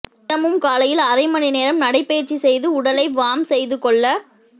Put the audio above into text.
தினமும் காலையில் அரைமணி நேரம் நடைபயிற்சி செய்து உடலை வார்ம் செய்து கொள்ள வ